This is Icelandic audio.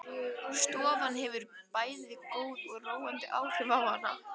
Stofan hefur bæði góð og róandi áhrif á hana.